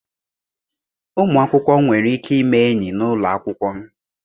Ụmụ akwụkwọ nwere ike ime enyi n'ụlọ akwụkwọ.